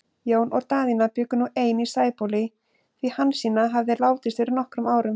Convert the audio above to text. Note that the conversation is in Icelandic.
Jón og Daðína bjuggu nú ein í Sæbóli, því Hansína hafði látist fyrir nokkrum árum.